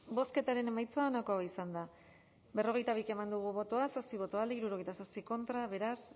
bozketaren emaitza onako izan da hirurogeita hamalau eman dugu bozka zazpi boto alde sesenta y siete contra beraz